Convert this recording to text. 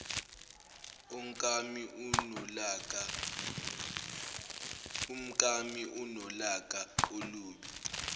umkami unolaka olubi